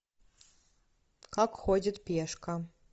как ходит пешка